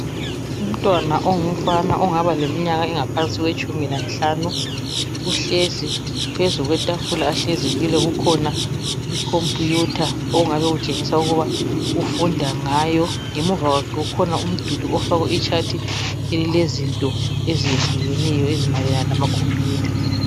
Umntwana ongumfana ongaba leminyaka engaphansi kwetshumi lanhlanu uhlezi. Phezu kwetafula ahlezi kulo kukhona ikhompuyutha ongabe kutshengisa ukuba ufunda ngayo. Ngemuva kwakhe kukhona umduli ofakwe itshathi elilezinto ezehlukeneyo ezimayelana lamakhompuyutha.